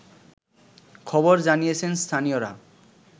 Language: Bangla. খবর জানিয়েছেন স্থানীয়রা